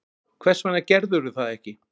Hversvegna gerðirðu það ekki?